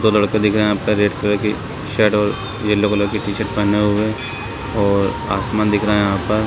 दो लड़का दिख रहा हैं यहाँ पर रेड कलर की शर्ट और येलो कलर की टी शर्ट पहने हुए और आसमान दिख रहा हैं यहाँ पर--